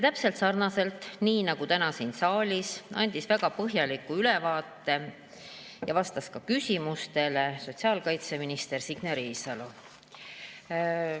Täpselt nii nagu täna siin saalis, andis väga põhjaliku ülevaate ja vastas küsimustele sotsiaalkaitseminister Signe Riisalo.